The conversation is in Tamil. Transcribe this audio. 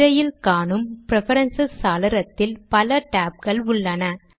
திரையில் காணும் ப்ரிபெரன்சஸ் சாளரத்தில் பல டேப் கள் உள்ளன